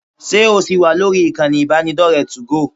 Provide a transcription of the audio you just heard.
Ṣé ò ṣì wà lórí ìkànnì ìbánidọ́rẹ̀ẹ́ 2go?